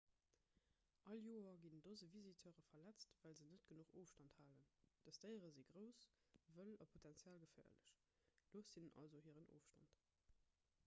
all joer ginn dose visiteure verletzt well se net genuch ofstand halen dës déiere si grouss wëll a potenziell geféierlech loosst hinnen also hiren ofstand